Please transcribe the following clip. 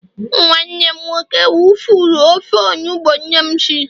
nwanne m nwoke wufurru ofe onugbu nnem Siri